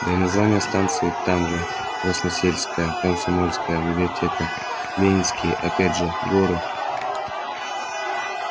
и названия станций там же красносельская комсомольская библиотека ленинские опять же горы